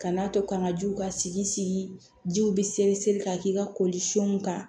Kan'a to kan ka jiw ka sigi jiw bɛ seri ka k'i ka kolifɛnw kan